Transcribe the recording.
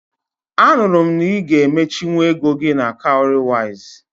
Anụrụ m na ị ga emechinwu ego gị na Cowrywise